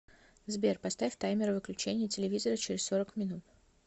сбер поставь таймер выключения телевизора через сорок минут